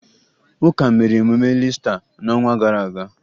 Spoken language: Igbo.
Ụka mere emume Iista n'ọnwa gara aga